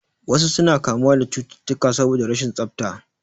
Wasu suna kamuwa da cututtukan saboda rashin tsafta